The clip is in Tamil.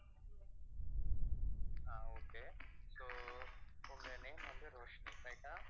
ஆஹ் okay so உங்க name வந்து ரோஷ்ணி right ஆ